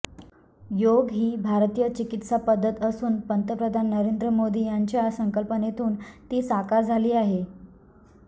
योग ही भारतीय चिकित्सापद्धत असून पंतप्रधान नरेंद्र मोदी यांच्या संकल्पनेतून ती साकार झाली आहे